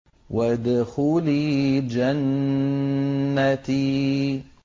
وَادْخُلِي جَنَّتِي